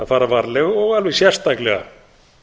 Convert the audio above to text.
fara varlega og alveg sérstaklega